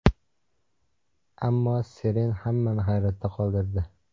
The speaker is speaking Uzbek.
Ammo Seren hammani hayratda qoldirdi.